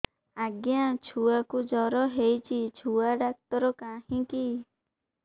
ଆଜ୍ଞା ଛୁଆକୁ ଜର ହେଇଚି ଛୁଆ ଡାକ୍ତର କାହିଁ କି